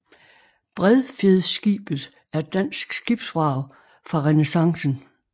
Bredfjedskibet er er dansk skibsvrag fra renæssancen